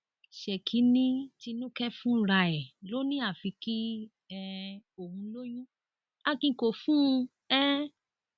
ṣèkì ni tinúkẹ fúnra ẹ ló ní àfi kí um òun lóyún akin kó fún un um